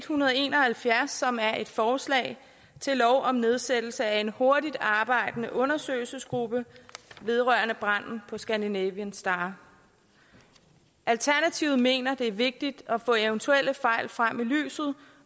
hundrede og en og halvfjerds som er et forslag til lov om nedsættelse af en hurtigtarbejdende undersøgelsesgruppe vedrørende branden på scandinavian star alternativet mener at det er vigtigt at få eventuelle fejl frem i lyset